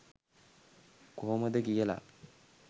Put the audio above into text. කොහොමද කියල